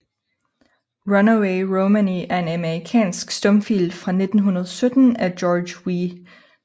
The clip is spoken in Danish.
Runaway Romany er en amerikansk stumfilm fra 1917 af George W